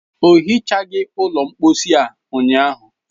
O hichaghị ụlọ mposi a ụnyaahụ.